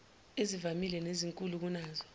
ezivamile nezinkulu kunazo